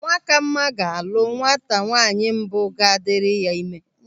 Nwakama ga-alụ nwata nwaanyị mbụ ga-adịrị ya ịme.